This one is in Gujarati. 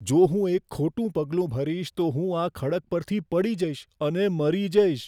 જો હું એક ખોટું પગલું ભરીશ, તો હું આ ખડક પરથી પડી જઈશ અને મરી જઈશ.